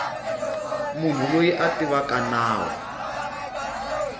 munhu loyi a tivaka nawu